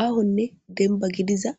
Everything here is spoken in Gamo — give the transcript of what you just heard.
Ahonne dennibba gidiza